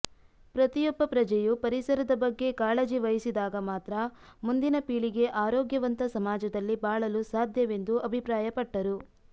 ಪ್ರತಿಯೊಬ್ಬ ಪ್ರಜೆಯು ಪರಿಸರದ ಬಗ್ಗೆ ಕಾಳಜಿ ವಹಿಸಿದಾಗ ಮಾತ್ರ ಮುಂದಿನ ಪೀಳಿಗೆ ಆರೋಗ್ಯವಂತ ಸಮಾಜದಲ್ಲಿ ಬಾಳಲು ಸಾಧ್ಯವೆಂದು ಅಭಿಪ್ರಾಯಪಟ್ಟರು